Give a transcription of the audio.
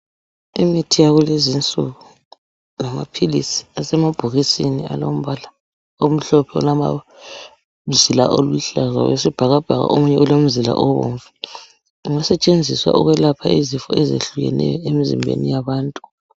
Imithi yakulezi insuku, ngamaphilizi asemabhokisini alombala omhlophe olomzila oluhlaza wesibhakabhaka omunye ulomzila obomvu, kungasetshenziswa ukwelapha izifo ezihlukeneyo emzimbeni yabantu.